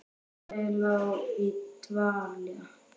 Félagið lá í dvala